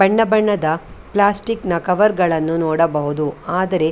ಬಣ್ಣ ಬಣ್ಣದ ಪ್ಲಾಸ್ಟಿಕ್‌ನ ಕವರ್‌ಗಳನ್ನು ನೋಡಬಹುದು ಆದರೆ --